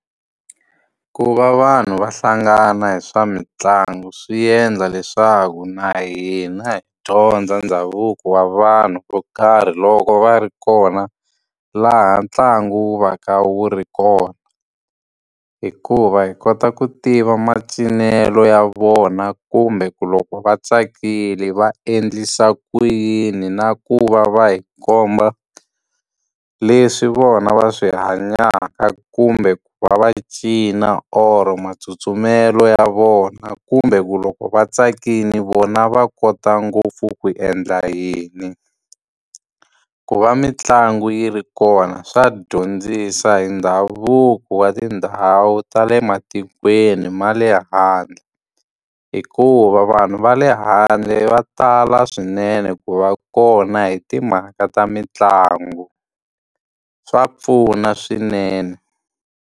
Ku va vanhu va hlangana hi swa mitlangu swi endla leswaku na hina hi dyondza ndhavuko wa vanhu vo karhi loko va ri kona laha ntlangu wu va ka wu ri kona. Hikuva hi kota ku tiva macinelo ya vona kumbe ku loko va tsakile va endlisa ku yini, na ku va va hi komba leswi vona va swi hanyaka kumbe ku va va cina or matsutsumelo ya vona, kumbe ku loko va tsakile vona va kota ngopfu ku endla yini. Ku va mitlangu yi ri kona swa dyondzisa hi ndhavuko wa tindhawu ta le matikweni ma le handle, hikuva vanhu va le handle va tala swinene ku va kona hi timhaka ta mitlangu. Swa pfuna swinene.